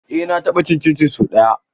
Eh na taɓa cin cincin so ɗaya.